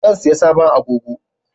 Zan saya sabon agogo